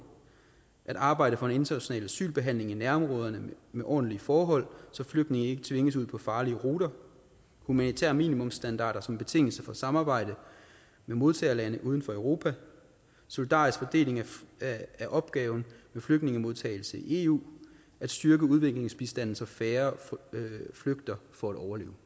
at arbejde for en international asylbehandling i nærområderne med ordentlige forhold så flygtninge ikke tvinges ud på farlige ruter humanitære minimumsstandarder som en betingelse for samarbejde med modtagerlande uden for europa solidarisk fordeling af opgaven med flygtningemodtagelse i eu at styrke udviklingsbistanden så færre flygter for at overleve